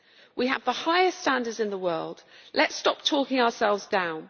We have the highest standards in the world. Let us stop talking ourselves down.